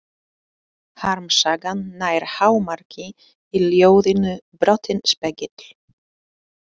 Harmsagan nær hámarki í ljóðinu Brotinn spegill.